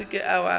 se ke wa be wa